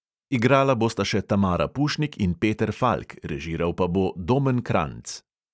Igrala bosta še tamara pušnik in peter falk, režiral pa bo domen kranjc.